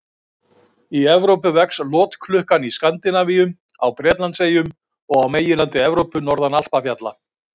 Í Evrópu vex lotklukkan í Skandinavíu, á Bretlandseyjum og á meginlandi Evrópu, norðan Alpafjalla.